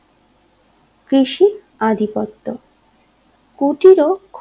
কৃষি আধিপত্য কুটির